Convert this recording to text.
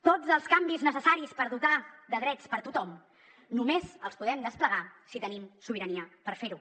tots els canvis necessaris per dotar de drets tothom només els podem desplegar si tenim sobirania per fer ho